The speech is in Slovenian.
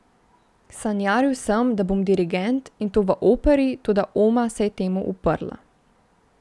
Sanjaril sem, da bom dirigent, in to v operi, toda Oma se je temu uprla.